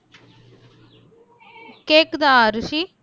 கேக்குதா அரூசி